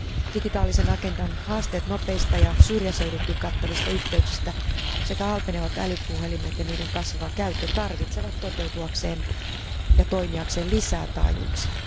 Digitaalisen agendan haasteet nopeista ja syrjäseudutkin kattavista yhteyksistä, sekä halpenevat älypuhelimet ja niiden kasvava käyttö, tarvitsevat toteutuakseen ja toimiakseen lisää taajuuksia.